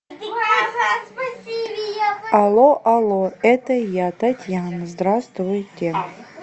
алло алло это я татьяна здравствуйте